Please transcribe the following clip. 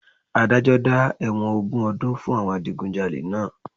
Adájọ́ dá ẹ̀wọ̀n ogún ọdún fún àwọn Adigunjalè náà